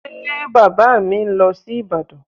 Ṣé Bàbá mi ń lọ sí Ìbàdàn?